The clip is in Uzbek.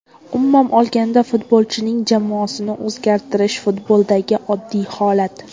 Umuman olganda futbolchining jamoasini o‘zgartirish futboldagi oddiy holat.